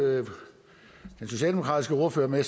den socialdemokratiske ordfører med at